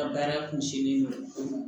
Ka baara kun sinnen don